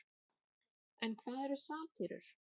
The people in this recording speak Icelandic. en hvað eru satírur